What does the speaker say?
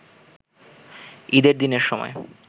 ঈদের দিনের সময়